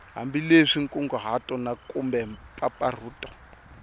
hambileswi nkunguhato na kumbe mpfampfarhuto